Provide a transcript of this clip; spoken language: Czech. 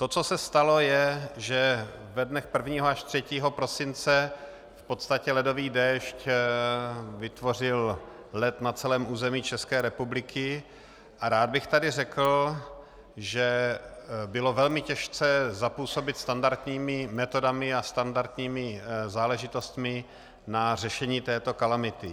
To, co se stalo, je, že ve dnech 1. až 3. prosince v podstatě ledový déšť vytvořil led na celém území České republiky, a rád bych tady řekl, že bylo velmi těžké zapůsobit standardními metodami a standardními záležitostmi na řešení této kalamity.